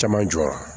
Caman jɔra